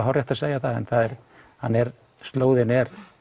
hárrétt að segja það en slóðin